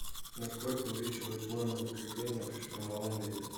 на сколько увеличиваются нормы закрепления при штормовом ветре